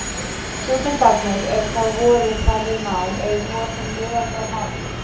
Stúdentarnir, er þá voru þar við nám, eru nú orðnir miðaldra menn.